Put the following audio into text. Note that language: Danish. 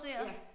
Ja